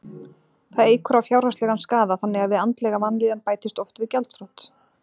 Það eykur á fjárhagslegan skaða þannig að við andlega vanlíðan bætist oft við gjaldþrot.